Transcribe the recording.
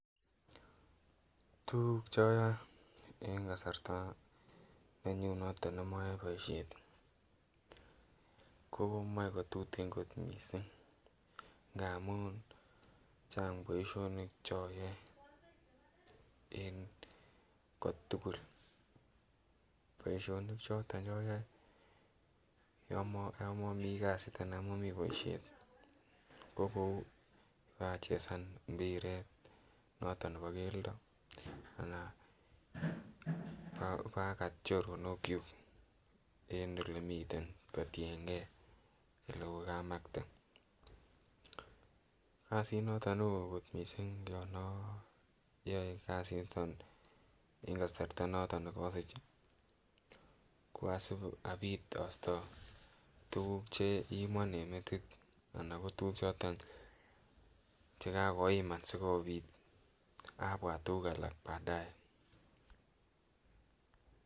Tuguuk choyoe en kasarta nenyun noton nemoyoe boisiet komoe kotuten kot missing amun chang boisionik choyoe en kotugul. Boisionik choton choyoe yon momii kasit anan yan momii boisiet ko achesan mpiret noton nebo keldo anan akat choronok kyuk en elemiten kotiengei elekokamakte. Kasit noton neoo kot missing yon oyoe kasit niton en kasarta noton nekosich ih ko asib abit astoo tuguuk cheimon en metit anan ko tuguuk choton chekakoiman sikobit abwat tuguk alak baadae